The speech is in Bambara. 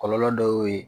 Kɔlɔlɔ dɔ y'o ye